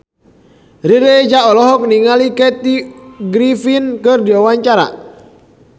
Riri Reza olohok ningali Kathy Griffin keur diwawancara